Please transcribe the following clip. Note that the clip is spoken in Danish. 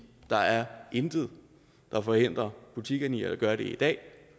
der er intet der forhindrer butikkerne i at gøre det i dag